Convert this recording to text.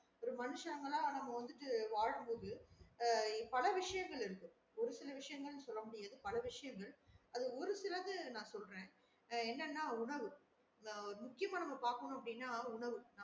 ஒரு மனுஷங்களா நம்ம வந்துட்டு வாழம் போது அஹ் பல விசையங்கள் இருக்கு ஒரு சில விஷயங்கள் ன்னு சொல்ல பல விசையங்கள் அதுல ஒரு சிலது நான் சொல்லுறேன் அஹ் என்னன்னா உணவு இத முக்கியம்மா நம்ம பாக்கணும் அப்டின்னா உணவு